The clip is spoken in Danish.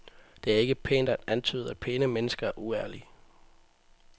Det er ikke pænt at antyde, at pæne mennesker er uærlige.